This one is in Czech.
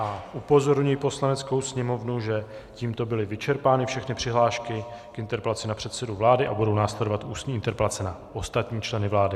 A upozorňuji Poslaneckou sněmovnu, že tímto byly vyčerpány všechny přihlášky k interpelacím na předsedu vlády a budou následovat ústní interpelace na ostatní členy vlády.